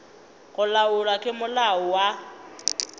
go laolwa ke molao wa